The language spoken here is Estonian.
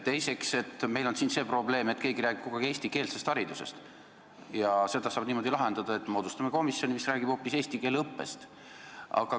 Teiseks, meil on siin see probleem, et keegi räägib kogu aeg eestikeelsest haridusest, ja seda saab lahendada niimoodi, et moodustame komisjoni, mis räägib hoopis eesti keele õppest.